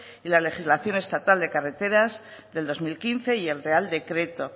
y las legislación estatal de carreteras de dos mil quince y el real decreto